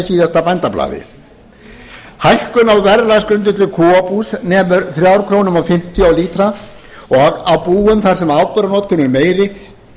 síðasta bændablaði hækkun á verðlagsgrundvelli kúabús nemur þremur krónum og fimmtíu á lítrann og á búum þar sem áburðarnotkun er meiri